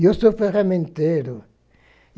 E eu sou ferramenteiro.